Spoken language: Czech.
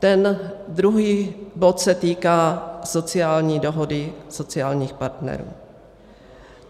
Ten druhý bod se týká sociální dohody sociálních partnerů.